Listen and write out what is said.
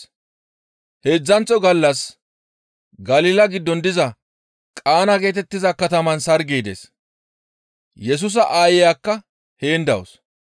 Heedzdzanththo gallas Galila giddon diza Qaana geetettiza kataman sargey dees; Yesusa aayeyakka heen dawus.